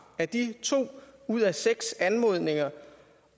at de to ud af seks anmodninger